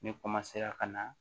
Ne ka na